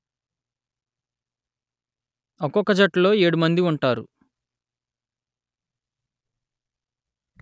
ఒక్కొక్క జట్టులో ఏడు మంది ఉంటారు